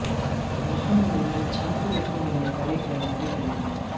वहां उन्होंने छात्रवृत्ति मिलने पर एक कैमरा भी खरीद लिया